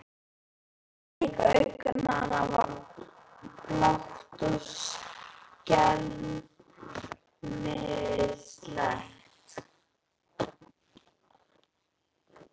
Blik augnanna var blátt og skelmislegt.